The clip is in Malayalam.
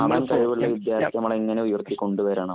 കഴിവുള്ള വിദ്യാര്‍ത്ഥിയെ നമ്മള്‍ എങ്ങനെ ഉയര്‍ത്തിക്കൊണ്ടു വരണം.